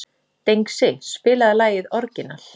Dengsi, spilaðu lagið „Orginal“.